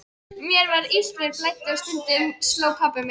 Mér var illt, mér blæddi og stundum sló pabbi mig.